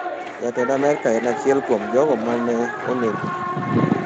Jatend Amerka en achiel kuom jogo ma ne onego.